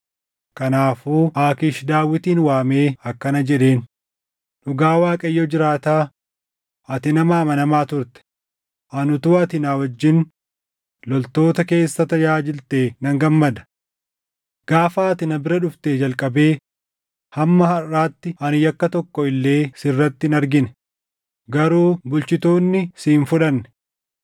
Kanaafuu Aakiish Daawitin waamee akkana jedheen; “Dhugaa Waaqayyo jiraataa, ati nama amanamaa turte; ani utuu ati na wajjin loltoota keessa tajaajiltee nan gammada. Gaafa ati na bira dhuftee jalqabee hamma harʼaatti ani yakka tokko illee sirratti hin argine; garuu bulchitoonni si hin fudhanne.